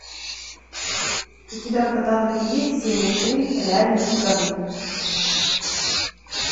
у тебя в каталоге есть серия три реальные пацаны